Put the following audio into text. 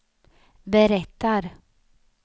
berättar